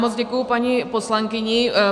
Moc děkuji paní poslankyni.